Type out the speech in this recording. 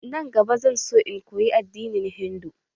Nan gaba, zan so in koyi addinin hindu.